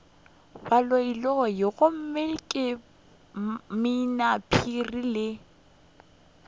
baloiloi gomme ke mminaphiri le